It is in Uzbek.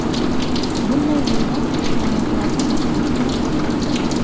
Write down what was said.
Bunday rollar personajlarni mashhur qiladi.